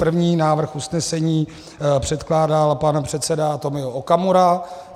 První návrh usnesení předkládal pan předseda Tomio Okamura.